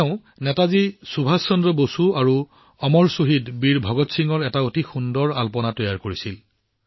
তেওঁ নেতাজী সুভাষ চন্দ্ৰ বসু আৰু অমৰ শ্বহীদ বীৰ ভগত সিঙৰ অতি সুন্দৰ ৰংগোলী তৈয়াৰ কৰিছিল